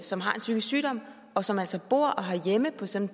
som har en psykisk sygdom og som altså bor og har hjemme på sådan